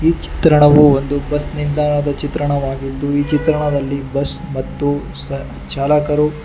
ಈ ಚಿತ್ರಣವು ಒಂದು ಬಸ್ ನಿಲ್ದಾಣದ ಚಿತ್ರಣವಾಗಿದ್ದು ಈ ಚಿತ್ರಣದಲ್ಲಿ ಬಸ್ ಮತ್ತು ಸ ಚಾಲಕರು--